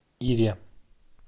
ире